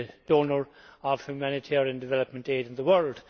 donor of humanitarian development aid in the world.